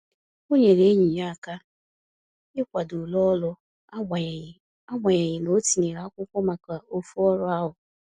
O nyere enyi ya aka ikwado ule ọrụ agbanyeghi agbanyeghi na-o tinyere akwụkwọ maka ofu ọrụ ahu